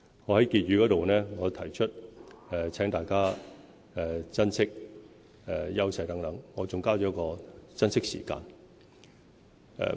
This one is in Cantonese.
我在施政報告結語部分提到，請大家珍惜香港的優勢等，我還加上"珍惜時間"。